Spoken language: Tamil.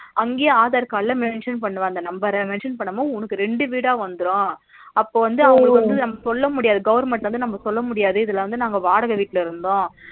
அங்கேயே aadhar card ல mention பண்ணுவாங்க அந்த number ர mention பண்ணும்போது உனக்கு ரெண்டு வீடா வந்துரும் அப்போ வந்து நம்ம சொல்ல முடியாது government வந்து நம்ம சொல்ல முடியாது இதுல வந்து நாங்க வாடக வீட்ல இருந்தோம்